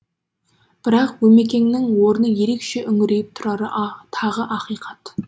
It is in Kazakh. бірақ өмекеңнің орны ерекше үңірейіп тұрары тағы ақиқат